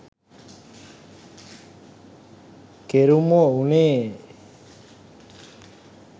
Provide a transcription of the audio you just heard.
කෙරුමො උනේ.